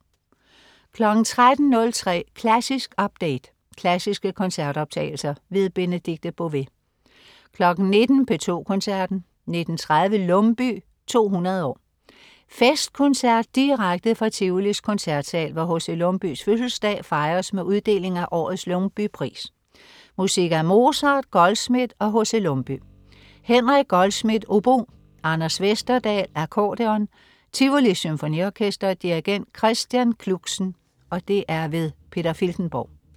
13.03 Klassisk update. Klassiske koncertoptagelser. Benedikte Bové 19.00 P2 Koncerten. 19.30 Lumbye 200 år. Festkoncert direkte fra Tivolis koncertsal, hvor H.C. Lumbyes fødselsdag fejres med uddeling af årets Lumbye-pris. Musik af Mozart, Goldschmidt og H.C. Lumbye. Henrik Goldschmidt, obo. Anders Vesterdahl, accordeon. Tivolis Symfoniorkester. Dirigent: Christian Kluxen. Peter Filtenborg